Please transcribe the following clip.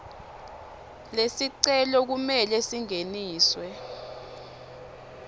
lesicelo kumele singeniswe